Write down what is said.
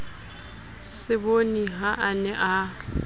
seboni ha a ne a